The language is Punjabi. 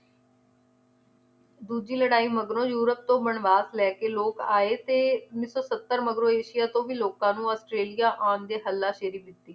ਦੂਜੀ ਲੜਾਈ ਮਗਰੋਂ ਯੂਰੋਪ ਤੋਂ ਵਣਵਾਸ ਲੈਕੇ ਲੋਕ ਆਏ ਤੇ ਉੱਨੀ ਸੌ ਸੱਤਰ ਮਗਰੋਂ ਏਸ਼ੀਆ ਤੋਂ ਵੀ ਲੋਕਾਂ ਨੂੰ australia ਆਉਣ ਦੇ ਹੱਲਾ ਸ਼ੇਰੀ ਦਿੱਤੀ